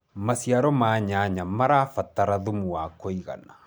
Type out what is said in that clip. maciaro ma nyanya marabatara thumu wa kũigana